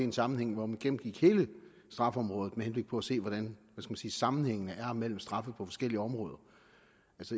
en sammenhæng hvor man gennemgik hele straffeområdet med henblik på at se hvordan sammenhængen er mellem straffe på forskellige områder